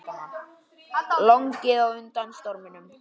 Lognið á undan storminum